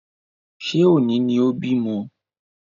Ṣé òní ni o bímọ?